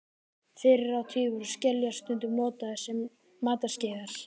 Fyrr á tíð voru skeljar stundum notaðar sem matskeiðar.